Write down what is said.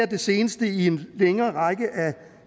det seneste i en længere række af